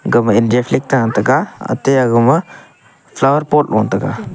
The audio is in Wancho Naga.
kaw ma india flag ta taiga ate agama flower pot lo tega.